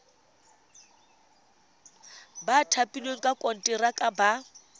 ba thapilweng ka konteraka ba